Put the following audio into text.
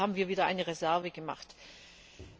Dafür haben wir wieder eine Reserve gebildet.